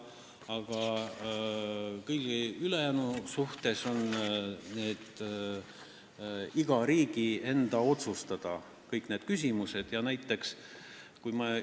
Aga kõiges ülejäänus on igal riigil õigus ise need küsimused otsustada.